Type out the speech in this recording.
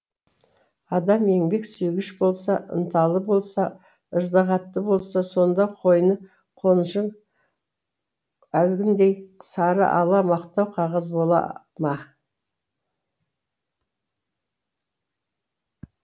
адам еңбек сүйгіш болса ынталы болса ыждағатты болса сонда қойны қонышың әлгіндей сары ала мақтау қағаз бола ма